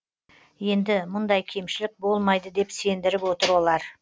енді мұндай кемшілік болмайды деп сендіріп отыр олар